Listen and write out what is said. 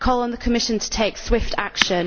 I call on the Commission to take swift action.